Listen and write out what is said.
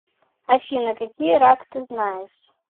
афина какие рак ты знаешь